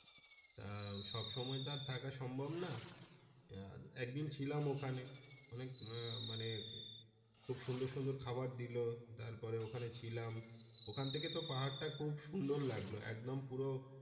আহ সবসময় তো আর থাকা সম্ভব না আহ একদিন ছিলাম ওখানে অনেক আহ মানে খুব সুন্দর সুন্দর খাবার দিলো তারপরে ওখানে ছিলাম ওখান থেকে তো পাহাড় টা খুব সুন্দর লাগলো একদম পুরো।